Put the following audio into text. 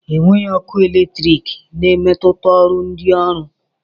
Enweghị ọkụ eletrik na-emetụta ọrụ ndị ọrụ